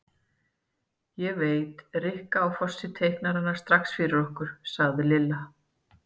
Ég veit, Rikka á Fossi teiknar hana strax fyrir okkur sagði Lilla.